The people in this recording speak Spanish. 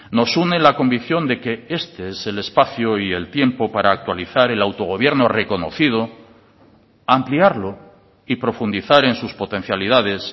nos une la convicción de que este es el espacio y el tiempo para actualizar el autogobierno reconocido ampliarlo y profundizar en sus potencialidades